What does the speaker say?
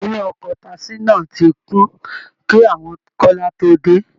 Inú ọkọ̀ọ̀ taasí náà ti kún kí àwọn kọ́lá tó dé